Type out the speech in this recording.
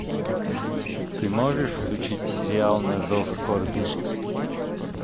ты можешь включить сериал на зов скорби